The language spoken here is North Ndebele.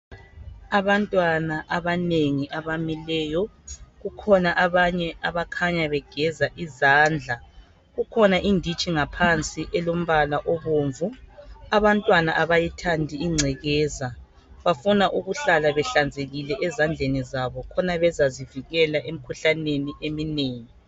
Abantwana abanengi abamileyo kukhona abanye abakhanya begeza izandla kukhona iditshi ngaphansi elompala obomvu. Abantwana abayithandi ingcekeza bafuna ukuhlala behlanzekile ezandleni zabo khona bezazivikela emkhuhlaneni eminengi.